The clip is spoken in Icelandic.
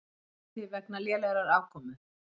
Hætti vegna lélegrar afkomu